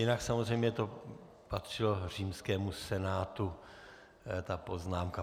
Jinak samozřejmě to patřilo římskému senátu, ta poznámka.